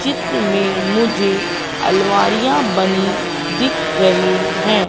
चित्र में मुझे अलमारियां बनी दिख रही है।